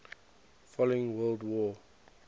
following world war